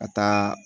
Ka taa